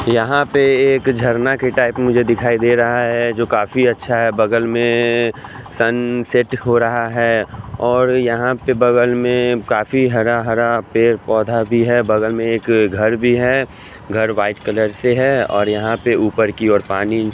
यहां पे एक झरना के टाइप मुझे दिखाई दे रहा है जो काफी अच्छा है बगल में सन सेट हो रहा है और यहां पे बगल में काफी हरा हरा पेड़ पौधा भी है बगल में एक घर भी है घर वाइट कलर से है और यहां पे ऊपर की ओर पानी--